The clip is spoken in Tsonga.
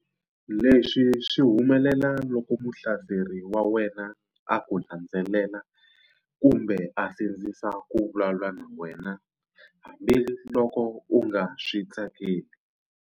Leswi swi humelela loko muhlaseri wa wena a ku landzelela kumbe a sindzisa ku vulavula na wena hambiloko u nga swi tsakeli.